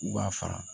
U b'a fara